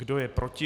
Kdo je proti?